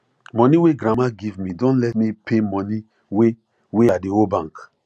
money wey grandma give me don let me pay money wey wey i dey owe bank